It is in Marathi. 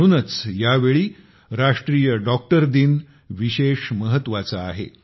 म्हणूनच या वेळी राष्ट्रीय डॉक्टर दिन विशेष महत्वाचा आहे